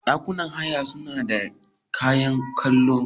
Ɗakunan haya sunada kayan kallo.